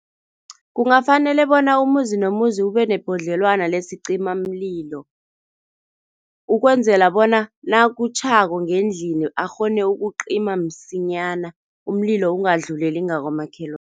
Kungafanele bona umuzi nomuzi ube nebhodlelwana lesicimamlilo, ukwenzela bona nakutjhako ngendlini akghone ukucima msinyana, umlilo ungadluleli ngakamakhelwana.